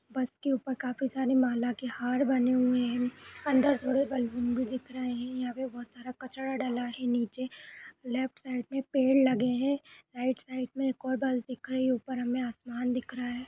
बस के ऊपर काफी सारे माला के हार बने हुए हैं अंदर थोड़े बलून भी दिख रहे हैं। यहां पे बोहोत सारा कचरा डला है। नीचे लेफ्ट साइड में पेड़ लगे हैं। राइट साइड में एक और बस दिख रही है। ऊपर हमें आसमान दिख रहा है।